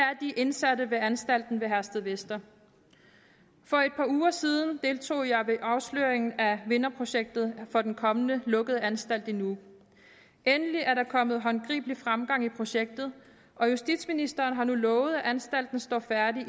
er de indsatte ved anstalten ved herstedvester for et par uger siden deltog jeg ved afsløringen af vinderprojektet for den kommende lukkede anstalt i nuuk endelig er der kommet håndgribelig fremgang i projektet og justitsministeren har nu lovet at anstalten står færdig i